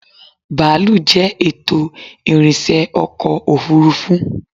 Bàálù jẹ́ ètò ìrìnsẹ́ ọkọ̀ òfuurufú